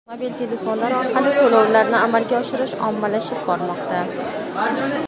mobil telefonlar orqali to‘lovlarni amalga oshirish ommalashib bormoqda.